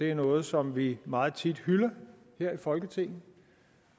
er noget som vi meget tit hylder her i folketinget